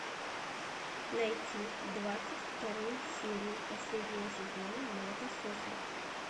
найти двадцать вторую серию последнего сезона молокососы